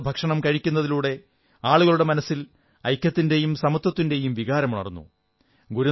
ഒരുമിച്ചിരുന്ന് ഭക്ഷണം കഴിക്കുന്നതിലൂടെ ആളുകളുടെ മനസ്സിൽ ഐക്യത്തിന്റെയും സമത്വത്തിന്റയും വികാരമുണർന്നു